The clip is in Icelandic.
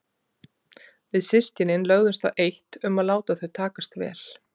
Við systkinin lögðumst á eitt um að láta þau takast vel.